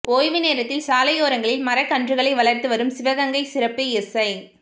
ஓய்வு நேரத்தில் சாலையோரங்களில் மரக்கன்றுகளை வளர்த்து வரும் சிவகங்கை சிறப்பு எஸ்ஐ